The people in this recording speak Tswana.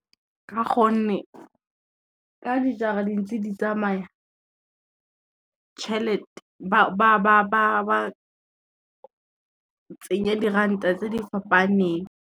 Ka gonne, ka dijara di ntse di tsamaya ba tsenye diranta tse di fapaneng.